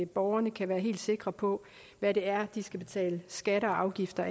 borgerne kan være helt sikre på hvad det er de skal betale skatter og afgifter